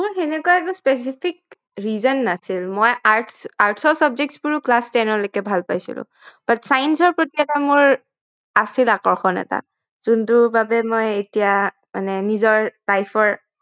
মোৰ সেনেকোৱা একো specific reason নাছিল মই Arts arts ৰ subjects বোৰ ও class ten লৈকে ভাল পাইছিলো but science প্ৰতি এটা মোৰ আছিল আকৰ্ষণ এটা যোনটোৰ বাবে মই এতিয়া মানে নিজৰ life ৰ